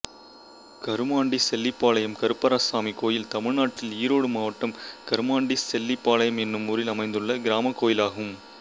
கருமாண்டிசெல்லிபாளையம் கருப்பராயசாமி கோயில் தமிழ்நாட்டில் ஈரோடு மாவட்டம் கருமாண்டிசெல்லிபாளையம் என்னும் ஊரில் அமைந்துள்ள கிராமக் கோயிலாகும்